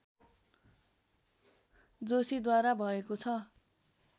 जोशीद्वारा भएको छ